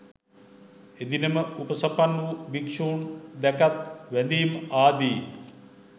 එදින ම උපසපන් වූ භික්‍ෂූන් දැකත් වැඳීම් ආදී